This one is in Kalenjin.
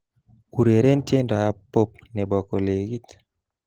Ureren tiendoab Pop nebo kolekit